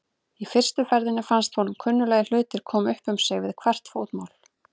Í fyrstu ferðinni fannst honum kunnuglegir hlutir koma upp um sig við hvert fótmál.